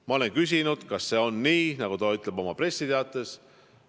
Ma olen küsinud, kas see on nii, nagu ta ütleb oma pressiteates.